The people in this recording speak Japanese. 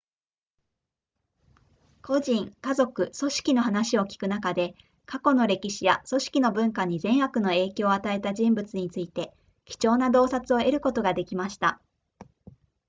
個人家族組織の話を聞く中で過去の歴史や組織の文化に善悪の影響を与えた人物について貴重な洞察を得ることができました